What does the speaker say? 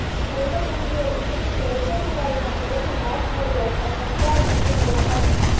પૂર્વ કેન્દ્રીય મંત્રી શૈલજાકુમારીના ઘરેથી લાશ મળી આવતા ચકચાર મચી જવા પામી છે